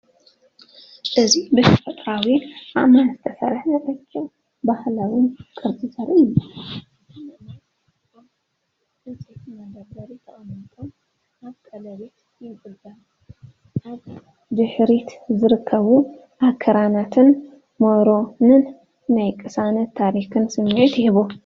እዚ ብተፈጥሮኣዊ ኣእማን ዝተሰርሐ ረቂቕን ባህላውን ቅርጻ ዘርኢ እዩ። እቶም ኣእማን ኣብ ዕንጨይቲ መደርደሪ ተቐሚጦም ኣብ ቀለቤት ይንጠልጠሉ። ኣብ ድሕሪት ዝርከቡ ኣኽራናትን መሮርን ናይ ቅሳነትን ታሪኽን ስምዒት ይህቡ።